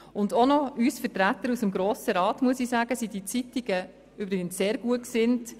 Auch muss ich sagen, dass diese Zeitungen uns Vertreterinnen und Vertretern des Grossen Rats sehr gut gesinnt sind.